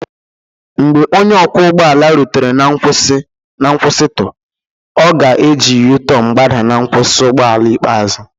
Mgbe onye ọkwọ ụgbọ ala rutere na nkwụsịtụ, ọ ga-eji u-turn gbadaa na nkwụsị ụgbọ ala ikpeazụ